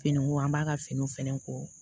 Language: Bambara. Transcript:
Fini ko an b'a ka fini fɛnɛ ko